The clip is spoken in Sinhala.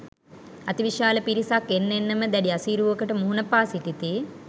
අතිවිශාල පිරිසක් එන්න එන්නම දැඩි අසීරුවකට මුහුණ පා සිටිති.